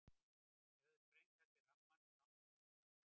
Þær höfðu sprengt af sér rammann sem náttúran hafði skammtað þeim.